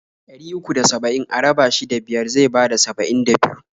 Ɗari uku da saba'in a raba shi da biyar zai bada saba'in da biyu.